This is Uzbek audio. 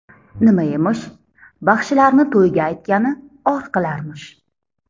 Nima emish: baxshilarni to‘yga aytgani or qilarmish.